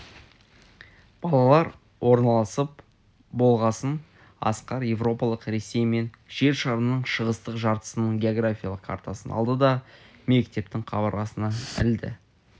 балалар орналасып болғасын асқар европалық ресей мен жер шарының шығыстық жартысының географиялық картасын алды да мектептің қабырғасына ілді